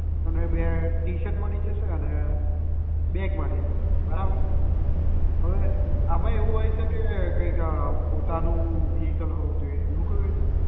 અને બે ટીશર્ટ મળી જશે અને બેગ મળીને બરાબર છે અવે આમાં એવું હોય છે કે કંઈક પોતાનું vehicle હોવું જોઈએ એવું કઈ હોય છે